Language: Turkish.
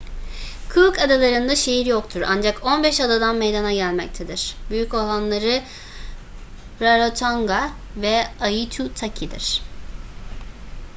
cook adaları'nda şehir yoktur ancak 15 adadan meydana gelmektedir büyük olanları rarotonga ve aitutaki'dir